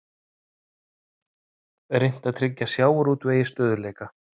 Reynt að tryggja sjávarútvegi stöðugleika